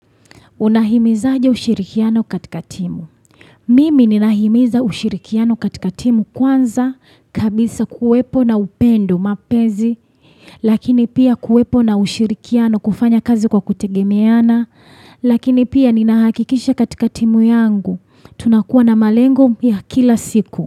Unahimiza aje ushirikiano katika timu? Mimi ninahimiza ushirikiano katika timu kwanza kabisa kuwepo na upendo mapenzi. Lakini pia kuwepo na ushirikiano kufanya kazi kwa kutegemeana. Lakini pia ninahakikisha katika timu yangu. Tunakuwa na malengo ya kila siku.